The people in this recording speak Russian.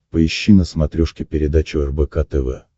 поищи на смотрешке передачу рбк тв